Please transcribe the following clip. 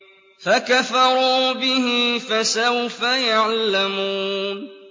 فَكَفَرُوا بِهِ ۖ فَسَوْفَ يَعْلَمُونَ